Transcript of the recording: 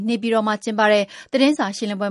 နေပြည်တော်မှာ ကျင်းပတဲ့ သတင်းစာရှင်းလင်းပွဲ